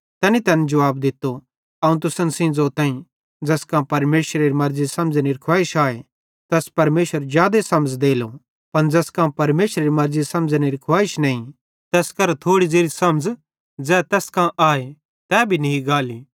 तैनी तैन जुवाब दित्तो अवं तुसन सेइं ज़ोताईं कि ज़ैस कां परमेशरेरी मर्ज़ी समझ़नेरी खुवाइश आए तैस परमेशर जादे समझ़ देलो पन ज़ैस कां परमेशरेरी मर्ज़ी समझ़नेरी खुवाइश नईं तैस केरां थोड़ी ज़ेरी समझ़ ज़ै तैस कां आए तै भी नी गाली